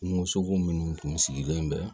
Kungosogo minnu tun sigilen bɛ